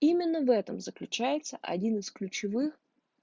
именно в этом заключается один из ключевых